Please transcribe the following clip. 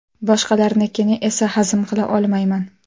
Boshqalarnikini esa hazm qila olmayman.